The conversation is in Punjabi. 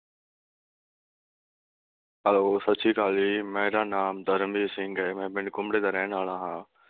ਹੈਲੋ, ਸਤਿ ਸ਼੍ਰੀ ਅਕਾਲ ਜੀ, ਮੇਰਾ ਨਾਮ ਤਰਨਬੀਰ ਸਿੰਘ ਐ, ਮੈਂ ਪਿੰਡ ਘੁਮਰੇ ਦਾ ਰਹਿਣ ਵਾਲਾ ਹਾਂ ।